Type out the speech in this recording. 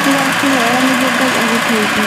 Tũrakũhoera nĩguo Ngai agũteithie